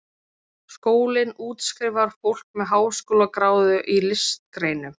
Skólinn útskrifar fólk með háskólagráðu í listgreinum.